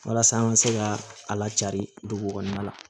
Walasa an ka se ka a lacaa dugu kɔnɔna la